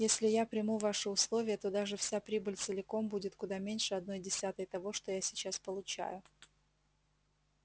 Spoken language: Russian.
если я приму ваши условия то даже вся прибыль целиком будет куда меньше одной десятой того что я сейчас получаю